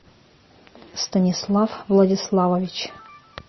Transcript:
станислав владиславович